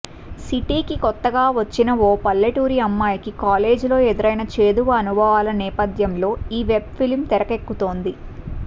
సిటీకి కొత్తగా వచ్చిన ఓ పల్లెటూరి అమ్మాయికి కాలేజీలో ఎదురైన చేదు అనుభవాల నేపథ్యంలో ఈ వెబ్ ఫిల్మ్ తెరకెక్కుతోంది